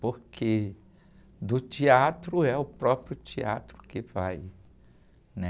Porque do teatro é o próprio teatro que vai, né?